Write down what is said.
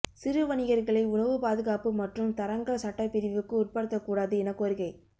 சிறு வணிகர்களை உணவு பாதுகாப்பு மற்றும் தரங்கள் சட்டப்பிரிவுக்கு உட்படுத்தக்கூடாது என கோரிக்கை